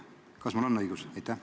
Kas mul on õigus?